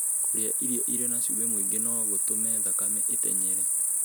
Kũrĩa irio irĩ na cumbĩ mũingĩ no gũtũme thakame ĩtenyere.